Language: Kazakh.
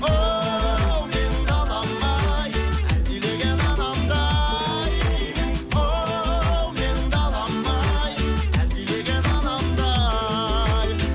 оу менің далам ай әлдилеген анамдай оу менің далам ай әлдилеген анамдай